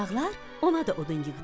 Uşaqlar ona da odun yığdılar.